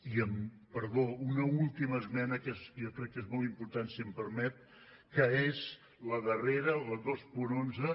i perdó una última esmena que jo crec que és molt important si m’ho permet que és la darrera la dos cents i onze